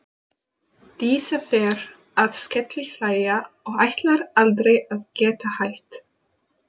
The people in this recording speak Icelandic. Dísa fer að skellihlæja og ætlar aldrei að geta hætt.